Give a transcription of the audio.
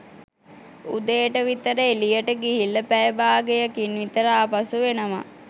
උදේට විතර එළියට ගිහිල්ල පැය භාගයකින් විතර ආපසු එනවා